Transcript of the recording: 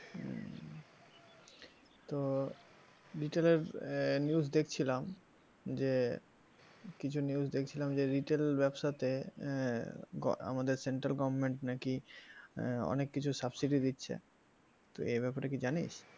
ভিতরের ah news দেখছিলাম যে কিছু news দেখছিলাম যে retail ব্যাবসা তে আহ আমাদের central government নাকি আহ অনেক কিছু subsidy দিচ্ছে, তো এ ব্যাপারে কি জানিস?